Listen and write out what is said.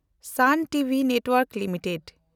ᱥᱟᱱ TV network limited